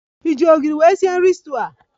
Ị ji ogiri nwe sie nri stuuyu a?